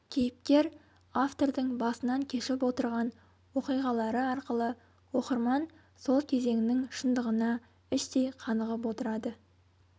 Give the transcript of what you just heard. кейіпкер-автордың басынан кешіп отырған оқиғалары арқылы оқырман сол кезеңнің шындығына іштей қанығып отырады